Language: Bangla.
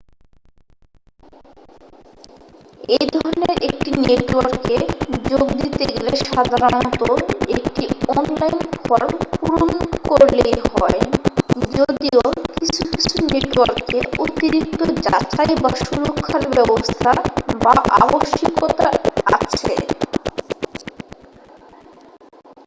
এইধরনের একটি নেটওয়ার্কে যোগ দিতে গেলে সাধারণত একটি অনলাইন ফর্ম পূরণ করলেই হয় যদিও কিছুকিছু নেটওয়ার্কে অতিরিক্ত যাচাই বা সুরক্ষার ব্যবস্থা বা আবশ্যিকতা আছে